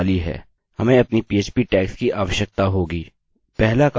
हमें अपनी php tags की आवश्यकता होगी